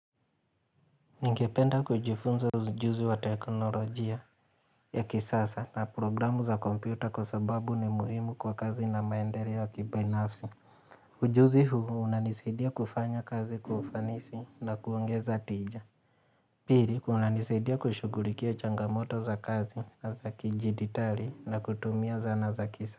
Ningependa kujifunza ujuzi wa teknolojia ya kisasa na programu za kompyuta kwa sababu ni muhimu kwa kazi na maendeleo ya kibinafsi. Ujuzi huu unanisidia kufanya kazi kwa ufanisi na kuongeza tija. Piri kunanisaidia kushugulikia changamoto za kazi na za kijiditari na kutumia zana za kisa.